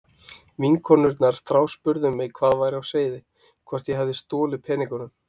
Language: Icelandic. Vinkonurnar þráspurðu mig hvað væri á seyði, hvort ég hefði stolið peningunum.